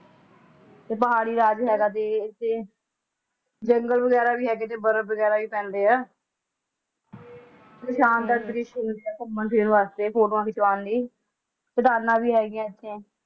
ਤੁਖਾਰੀ ਰਾਗ ਹੈਰਾਨ ਵੀ ਇੱਥੇ ਬਿਲਲੂ ਰਹਿਣਗੇ ਹਾਲਤ ਵਿੱਚ ਵੇਖਣ ਵਾਲੇ ਗਵਾਹ ਗੁਰਬਾਣੀ ਵਿਆਖਿਆ